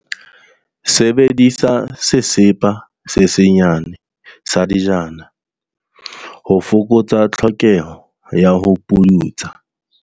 Sebedisa sesepa se senyane sa dijana, ho fokotsa tlhokeho ya ho puntsa.